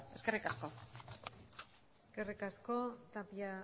eskerrik asko eskerrik asko tapia